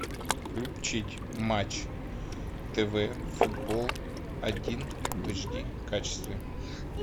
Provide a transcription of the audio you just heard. включить матч тв футбол один в эйч ди качестве